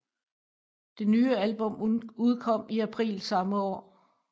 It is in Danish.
Det nye album udkom i april samme år